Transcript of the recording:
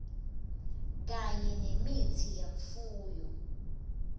kanye nemitsi yemfuyo